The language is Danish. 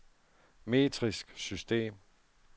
metrisk system